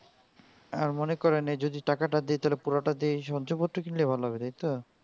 মনে করেন এই যদি টাকাটা দিয় পুরোটা দিয় সহ্য করতে হবে তাই তো